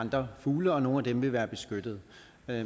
andre fugle og nogle af dem vil være beskyttet